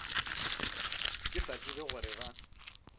ke sa tsebe gore ba